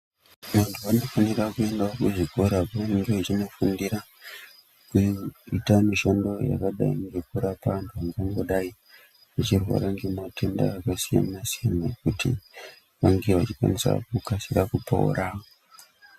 Vantu vanofanira kuendawo kuzvikora kwavanenge vachindofundira kuita mushando yekurapa antu vangangodai vachirwara ngematenda akasiyana siyana kuti vange vachikasira kupora.